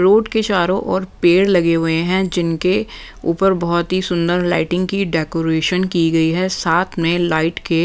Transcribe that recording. road के चारों और पेड़ लगे हुए हैं जिनके ऊपर बहुत ही सुंदर लाइटिंग की डेकोरेशन की गई हैं साथ में लाइट के--